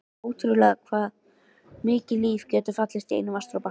Ótrúlegt hvað mikið líf getur falist í einum vatnsdropa.